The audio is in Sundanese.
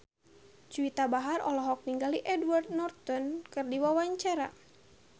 Juwita Bahar olohok ningali Edward Norton keur diwawancara